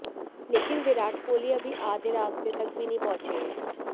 लेकिन विराट कोहली अभी आधे रास्ते तक भी नहीं पहुंचे हैं